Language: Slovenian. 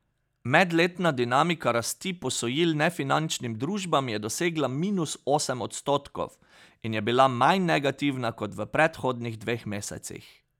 Medletna dinamika rasti posojil nefinančnim družbam je dosegla minus osem odstotkov in je bila manj negativna kot v predhodnih dveh mesecih.